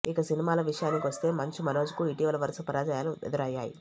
ఇక సినిమాల విషయానికి వస్తే మంచు మనోజ్ కు ఇటీవల వరుస పరాజయాలు ఎదురయ్యాయి